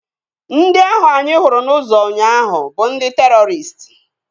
Ndị ahụ anyị hụrụ n'ụzọ ụnyaahụ bụ ndị terọristị